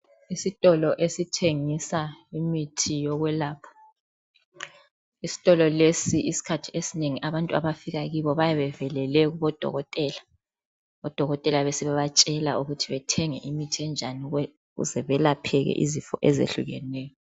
Isitolo esithengisa imithi yokwelapha. Isitolo lesi isikhathi esinengi abantu abafika kibo bayabe bevelele kubodokotela, odokotela besebebatshela ukuthi bathenge imithi enjani ukuze belapheke izifo ezehlukeneyo.